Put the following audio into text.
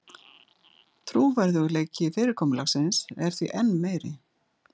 Trúverðugleiki fyrirkomulagsins er því enn meiri